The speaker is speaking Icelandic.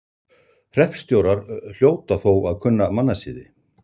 Hreppstjórar hljóta þó að kunna mannasiði.